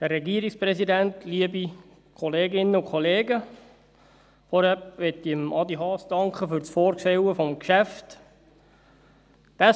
Zuerst danke ich Adrian Haas für das Vorstellen des Geschäfts.